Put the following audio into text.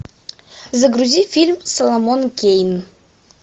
загрузи фильм соломон кейн